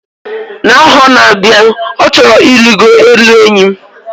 Na aho n; abia, o choro irigo elu enyi